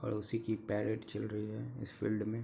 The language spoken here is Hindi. पड़ोसी की पैरेड चल रही है इस फील्ड में।